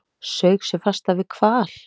Saug sig fasta við hval